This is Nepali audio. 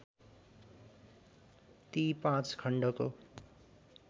ती पाँच खण्डको